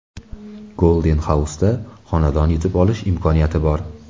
Golden House’da xonadon yutib olish imkoniyati bor!.